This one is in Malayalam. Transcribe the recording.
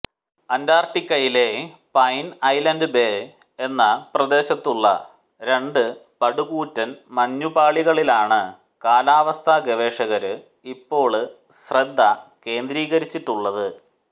അന്റാര്ട്ടിക്കയിലെ പൈന് ഐലന്ഡ് ബേ എന്ന പ്രദേശത്തുള്ള രണ്ടു പടുകൂറ്റന് മഞ്ഞുപാളികളിലാണ് കാലാവസ്ഥ ഗവേഷകര് ഇപ്പോള് ശ്രദ്ധ കേന്ദ്രീകരിച്ചിട്ടുള്ളത്